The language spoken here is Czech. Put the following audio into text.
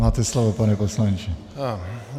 Máte slovo, pane poslanče.